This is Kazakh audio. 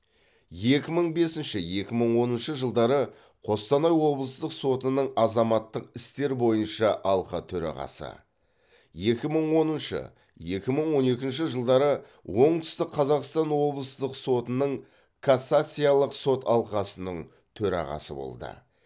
екі мың бесінші екі мың оныншы жылдары қостанай облыстық сотының азаматтық істер бойынша алқа төрағасы екі мың оныншы екі мың он екінші жылдары оңтүстік қазақстан облыстық сотының кассациялық сот алқасының төрағасы болды